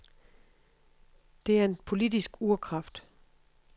Det er en politisk urkraft.